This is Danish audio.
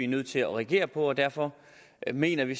nødt til at reagere på det og derfor mener vi